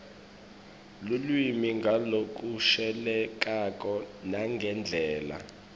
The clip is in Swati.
lulwimi ngalokushelelako nangendlela